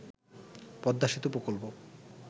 পদ্মা সেতু প্রকল্প